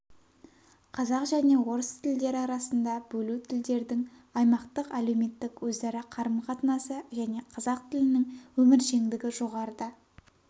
қазақ және орыс тілдері арасында бөлу тілдердің аймақтық әлеуметтік өзара қарым-қатынасы және қазақ тілінің өміршеңдігі жоғарыда